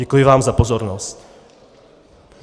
Děkuji vám za pozornost.